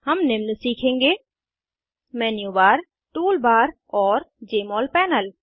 हम निम्न सीखेंगे मेन्यू बार टूल बारऔर जमोल पैनल